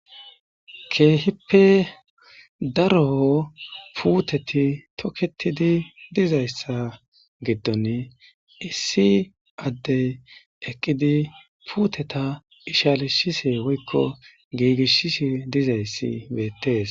Keehippe daro puuteti toketidi dizayssa giddon issi addey eqqidi puuteta ishalishise woykko giigishise dizayssi beettees.